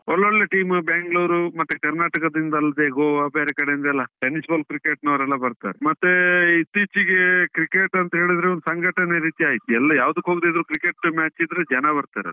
ಒಳ್ಳೊಳ್ಳೆ team Bangalore ಮತ್ತೆ ಕರ್ನಾಟಕದಿಂದಲೇ Goa ಬೇರೆ ಕಡೆಯಿಂದ ಎಲ್ಲ tennis ball cricket ನವರೆಲ್ಲ ಬರ್ತಾರೆ. ಮತ್ತೇ ಇತ್ತೀಚಿಗೆ cricket ಅಂತ ಹೇಳಿದ್ರೆ ಒಂದು ಸಂಘಟನೆ ರೀತಿ ಆಯ್ತು, ಎಲ್ಲ ಯಾವುದಕ್ಕೆ ಹೋಗದಿದ್ರು cricket match ಇದ್ರೆ ಜನ ಬರ್ತಾರೆ.